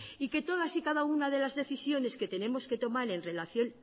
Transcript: y que todas y cada una de las decisiones que tenemos que tomar en relación